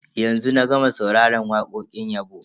Yanzu na gama sauraron wakokin yabo.